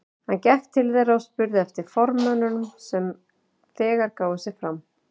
Hann gekk til þeirra og spurði eftir formönnunum sem þegar gáfu sig fram.